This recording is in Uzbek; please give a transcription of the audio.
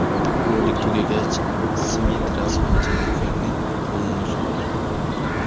Rolik tugagach, Smit rasman Jenniferning qo‘lini so‘ragan.